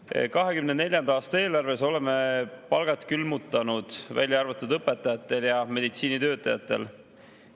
2024. aasta eelarves oleme palgad külmutanud, välja arvatud õpetajatel ja meditsiinitöötajatel.